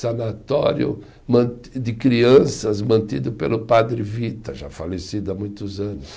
sanatório man, de crianças mantido pelo padre Vita, já falecido há muitos anos.